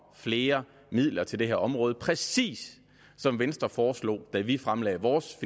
flere midler til det her område præcis som venstre foreslog da vi fremlagde vores